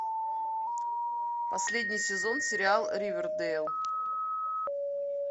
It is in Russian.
последний сезон сериал ривердейл